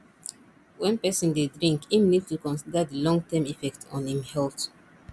when person dey drink im need to consider di long term effect on im health